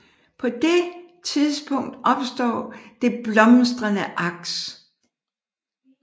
På det tidspunkt opstår det blomstrende aks